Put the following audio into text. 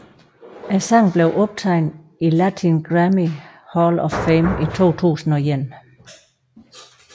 Sangen blev optaget i Latin Grammy Hall of Fame i 2001